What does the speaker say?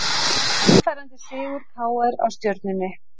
Sannfærandi sigur KR á Stjörnunni